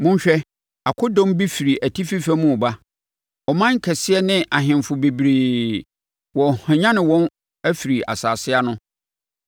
“Monhwɛ! Akodɔm bi firi atifi fam reba; ɔman kɛseɛ ne ahemfo bebree, wɔrehwanyane wɔn afiri nsase ano.